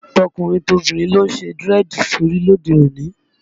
Tọkùnrin tobìnrin ló ń ṣe dírẹ́ẹ̀dì sórí lóde òní